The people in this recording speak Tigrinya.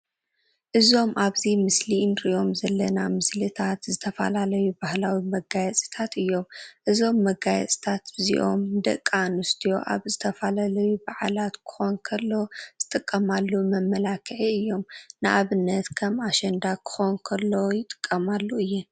እዞም ኣብዚ ምስሊ እንርእዮም ዘለና ምስልታት ዝተፈላለዩ ባህላዊ መጋየፅታት እዮም። እዞም መገየፅታት እዚኦም ንደቂ ኣንስትዮ ኣብ ዝተፈላለዩ በዓላት ክኮን ከሎ ዝጥቀማሉ መመላኪዒ እዮም። ንኣብነት ከም ኣሸንዳ ክኮን ከሎ ይጥቀማሉ እየን።